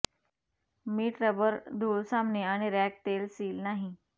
मीठ रबर धूळ सामने आणि रॅक तेल सील नाही